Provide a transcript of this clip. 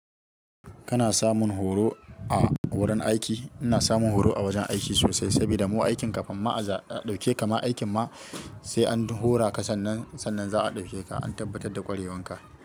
Kana samun horo a wurin aiki? Ina samun horo a wajen aiki sosai saboda mu aikin kafin ma a ɗauke, kama aikin ma sai an horaka sannan za'a ɗauke ka an tabbatar da ƙwarewanka.